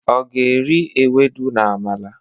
ọ ga eri ewudo na amala?